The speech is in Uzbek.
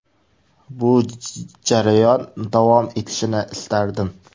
Bu jarayon davom etishini istardim.